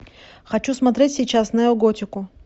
хочу смотреть сейчас неоготику